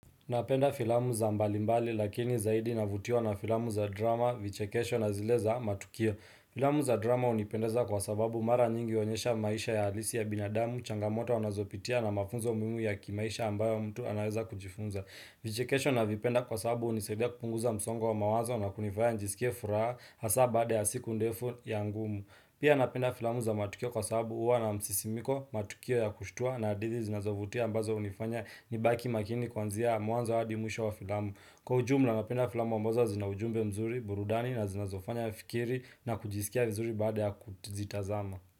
Napenda filamu za mbalimbali lakini zaidi navutiwa na filamu za drama, vichekesho na zile za matukio. Filamu za drama hunipendeza kwa sababu mara nyingi huonyesha maisha ya alisi ya binadamu, changamoto anazopitia na mafunzo muhimu ya kimaisha ambayo mtu anaweza kujifunza. Vichekesho navipenda kwa sababu hunisaidia kupunguza msongo wa mawazo na kunifanya nisikie furaha hasa baada ya siku ndefu ya ngumu. Pia napenda filamu za matukio kwa sahabu uwa na msisimiko, matukio ya kushtua na adidi zinazovutia ambazo unifanya nibaki makini kwanzia mwanzo wadi mwisho wa filamu. Kwa ujumla napenda filamu ambazo zinaujumbe mzuri, burudani na zinazofanya fikiri na kujisikia vizuri baada ya kuzitazama.